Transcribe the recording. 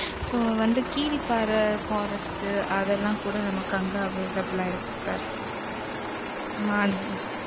so வந்து Keeripparai, forest அதெல்லாம் கூட, நமக்கு அங்க available ஆ இருக்கு sir அ